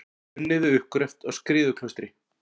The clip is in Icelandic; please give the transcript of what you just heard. Unnið við uppgröft á Skriðuklaustri.